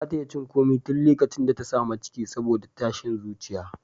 Ba ta iya cin komai tun likacin da ta sami ciki saboda tashin zuciya.